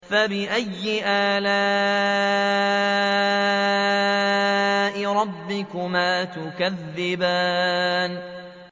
فَبِأَيِّ آلَاءِ رَبِّكُمَا تُكَذِّبَانِ